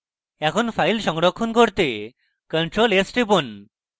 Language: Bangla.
এখন file সংরক্ষণ করতে ctrl + s টিপুন